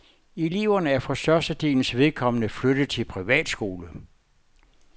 Eleverne er for størstedelens vedkommende flyttet til privatskole.